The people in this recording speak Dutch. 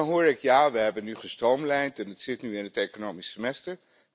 En dan hoor ik 'Ja, we hebben nu gestroomlijnd en het zit nu in het economisch semester'.